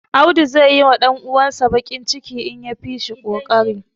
Audu zai yiwa ɗan uwansa baƙin ciki, idan ya fi shi ƙoƙari.